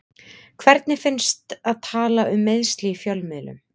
Hvernig finnst að tala um meiðsli í fjölmiðlum?